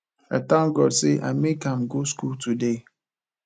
i thank god say i make am go school today